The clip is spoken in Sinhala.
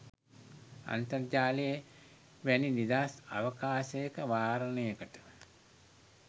අන්තර්ජාලය වැනි නිදහස් අවකාශයක වාරණයකට